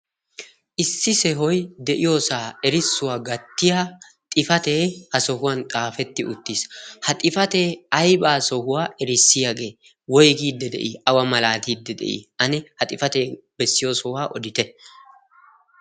issi sohoy de'iyoosa erissuwa gattiyaa xifaate xaafeti ha sohuwan xaafeti uttis. ha xifaate aybba sohuwa erissiyaagee woyggiide de'i? aybba malatide de'i? ane ha bessiyo sohuwa oditte.